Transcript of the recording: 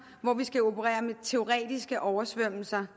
hvor vi skal operere med teoretiske oversvømmelser